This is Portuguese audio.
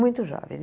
Muito jovens.